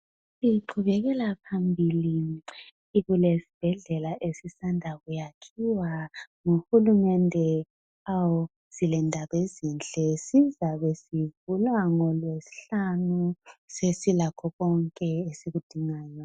Ingqubekela phambili kukhanya kulesibhedlela esisanda kuyakhiwa nguhulumende . Indaba ezinhle sizabe sivulwa ngolwesihlanu sesilakho konke esikudingayo.